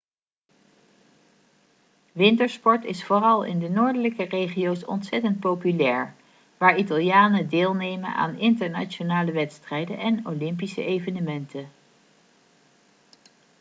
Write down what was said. wintersport is vooral in de noordelijke regio's ontzettend populair waar italianen deelnemen aan internationale wedstrijden en olympische evenementen